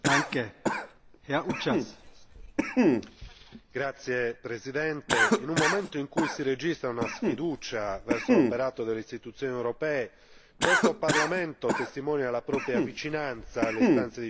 In un momento in cui si registra una sfiducia verso l'operato delle istituzioni europee, questo Parlamento testimonia la propria vicinanza alle istanze dei cittadini, approvando un testo che ne tutela la salute e l'incolumità fisica.